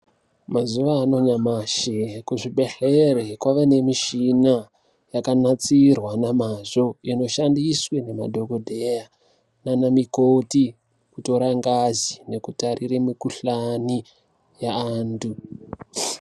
Mazuva anyamashi, kuzvibhedhlere kwave ngemishina yakanatsirwa namazvo inoshandiswe namadhokodheya nanamikhoti kutora ngazi nekutarire mukuhlani yaantu.